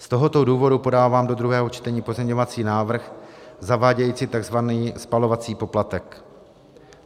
Z tohoto důvodu podávám do druhého čtení pozměňovací návrh zavádějící tzv. spalovací poplatek.